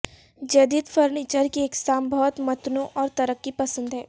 جدید فرنیچر کی اقسام بہت متنوع اور ترقی پسند ہے